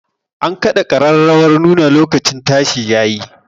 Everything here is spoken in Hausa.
An kaɗa ƙararrawar nuna lokacin tashi ya yi